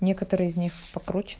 некоторые из них